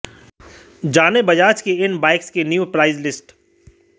जानें बजाज की इन बाइक्स की न्यू प्राइस लिस्ट